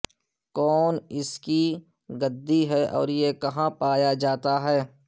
کون اس کی گدی ہے اور یہ کہاں پایا جاتا ہے